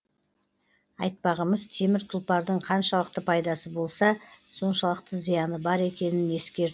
айтпағымыз темір тұлпардың қаншалықты пайдасы болса соншалықты зияны бар екенін ескерту